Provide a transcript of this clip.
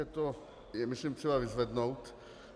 Je to myslím třeba vyzvednout.